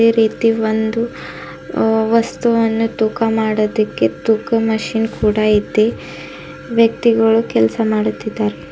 ರೀತಿ ಒಂದು ವಸ್ತುವನ್ನು ತೂಕ ಮಾಡದಿಕ್ಕೆ ತೂಕ ಮಷೀನ್ ಕೂಡ ಇದೆ ವ್ಯಕ್ತಿಗಳು ಕೆಲಸ ಮಾಡುತ್ತಿದ್ದಾರೆ.